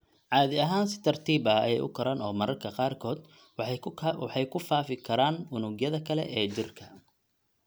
Caadi ahaan si tartiib ah ayey u koraan oo mararka qaarkood waxay ku faafi karaan unugyada kale ee jirka (metastasize).